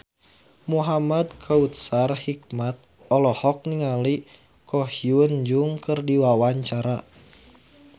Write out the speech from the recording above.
Muhamad Kautsar Hikmat olohok ningali Ko Hyun Jung keur diwawancara